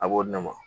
A b'o di ne ma